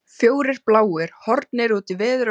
Fjórir bláir horfnir út í veður og vind!